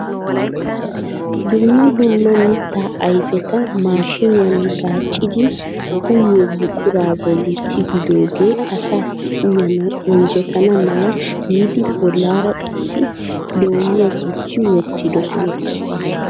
dumma dumma mittaa ayfeta maashiniyaan gaaccidi uyyiyo buqura bolli tigidooge asassi uyyanaw injjetana mala giidi bollaara qasi loomiya gujji wottidoosona.